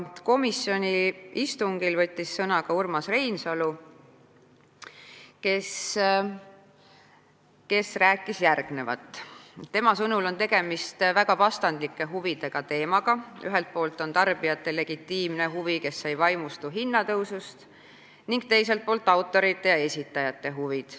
Komisjoni istungil võttis sõna ka Urmas Reinsalu, kelle sõnul on tegemist väga vastandlike huvidega: ühelt poolt on tarbijate legitiimne huvi, kes ei vaimustu hinnatõusust, ning teiselt poolt autorite ja esitajate huvid.